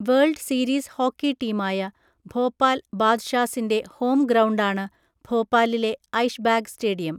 World series hockey ടീമായ ഭോപ്പാൽ ബാദ്ഷാസിൻ്റെ home ഗ്രൗണ്ടാണ് ഭോപ്പാലിലെ ഐഷ്ബാഗ് സ്റ്റേഡിയം.